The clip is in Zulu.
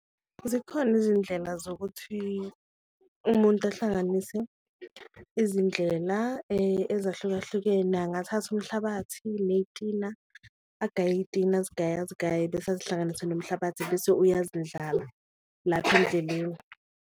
Zikhona izindlela zokuthi umuntu ahlanganise izindlela ezahlukahlukene, angathatha umhlabathi neyitina, agaye iyitina azigaye azigaye bese azihlanganise nomhlabathi bese uyazindlala lapha endleleni.